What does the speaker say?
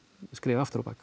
skref aftur á bak